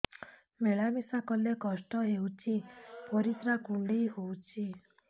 ମିଳା ମିଶା କଲେ କଷ୍ଟ ହେଉଚି ପରିସ୍ରା କୁଣ୍ଡେଇ ହଉଚି